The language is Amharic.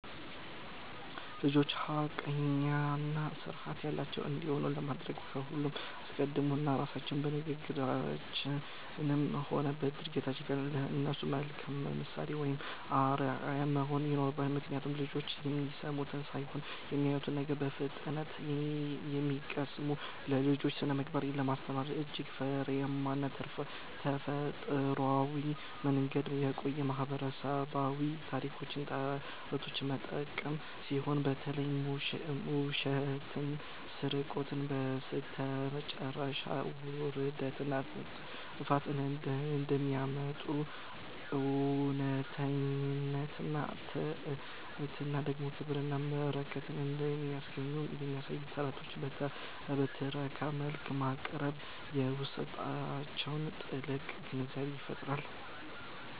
ልጆች ሐቀኛና ሥርዓት ያላቸው እንዲሆኑ ለማድረግ ከሁሉ አስቀድሞ እኛ ራሳችን በንግግራችንም ሆነ በድርጊታችን ለእነሱ መልካም ምሳሌ ወይም አርአያ መሆን ይኖርብናል፤ ምክንያቱም ልጆች የሚሰሙትን ሳይሆን የሚያዩትን ነው በፍጥነት የሚቀስሙት። ለልጆች ስነ-ምግባርን ለማስተማር እጅግ ፍሬያማና ተፈጥሯዊው መንገድ የቆዩ ማህበረሰባዊ ታሪኮችንና ተረቶችን መጠቀም ሲሆን፣ በተለይም ውሸትና ስርቆት በስተመጨረሻ ውርደትንና ጥፋትን እንደሚያመጡ፣ እውነተኝነትና ትሕትና ደግሞ ክብርንና በረከትን እንደሚያስገኙ የሚያሳዩ ተረቶችን በትረካ መልክ ማቅረብ በውስጣቸው ጥልቅ ግንዛቤን ይፈጥራል።